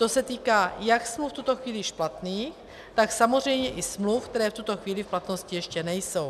To se týká jak smluv v tuto chvíli špatných, tak samozřejmě i smluv, které v tuto chvíli v platnosti ještě nejsou.